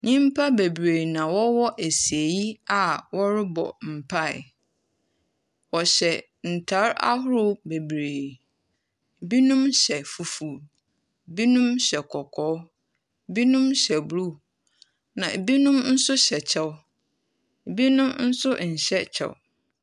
Nyimpa bebree na wɔwɔ esieyi a wɔrebɔ mpae, wɔhyɛ ntar ahoro bebree. Binom hyɛ fufuu, binom hyɛ kɔkɔɔ, binom hyɛ blu na binom nso hyɛ kyɛw na binom nso nhyɛ kyɛw.